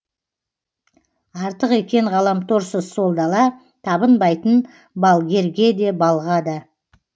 артық екен ғаламторсыз сол дала табынбайтын балгерге де балға да